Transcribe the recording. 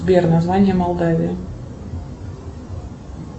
сбер название молдавии